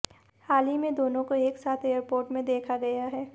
हाल ही में दोनों को एक साथ एयरपोर्ट में देखा गया है